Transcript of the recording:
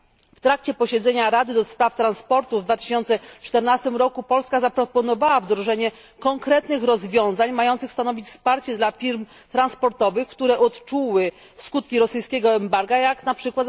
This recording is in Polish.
W trakcie posiedzenia Rady ds. Transportu w 2014 roku Polska zaproponowała wdrożenie konkretnych rozwiązań mających stanowić wsparcie dla firm transportowych, które odczuły skutki rosyjskiego embarga, jak np.